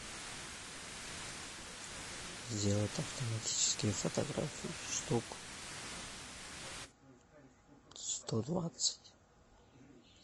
сделать автоматические фотографии штук сто двадцать